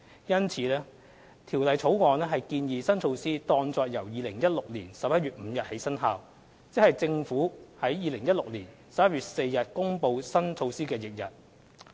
因此，《條例草案》建議新措施當作由2016年11月5日起生效，即政府於2016年11月4日公布新措施的翌日。